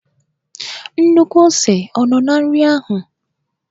Nnukwu ose ọ nọ na nri ahụ?